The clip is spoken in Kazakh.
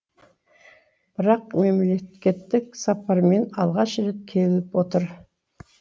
бірақ мемлекеттік сапармен алғаш рет келіп отыр